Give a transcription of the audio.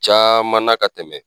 Caman na ka tɛmɛ